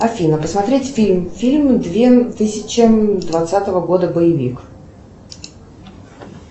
афина посмотреть фильм фильм две тысячи двадцатого года боевик